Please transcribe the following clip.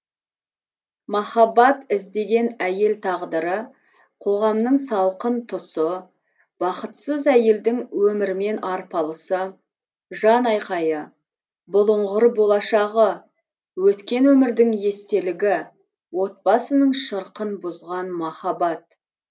махаббат іздеген әйел тағдыры қоғамның салқын тұсы бақытсыз әйелдің өмірмен арпалысы жанайқайы бұлыңғыр болашағы өткен өмірдің естелігі отбасының шырқын бұзған махаббат